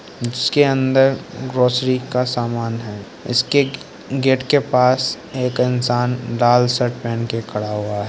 जिसके अंदर ग्रोसरी का सामान है इसके गेट के पास एक इंसान लाल शर्ट पहन के खड़ा हुआ है।